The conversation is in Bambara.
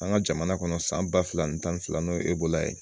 An ka jamana kɔnɔ san ba fila ni tan ni fila n'o ye ye